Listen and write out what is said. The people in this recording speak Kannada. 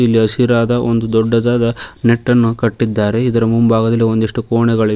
ಹಸಿರಾದ ಒಂದು ದೊಡ್ಡದಾದ ನೆಟ್ಟನ್ನು ಕಟ್ಟಿದ್ದಾರೆ ಇದರ ಮುಂಭಾಗದಲ್ಲಿ ಒಂದಿಷ್ಟು ಕೋಣೆಗಳಿವೆ.